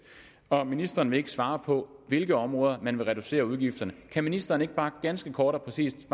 og ministeren vil ikke svare på hvilke områder man vil reducere udgifterne kan ministeren ikke bare ganske kort og præcist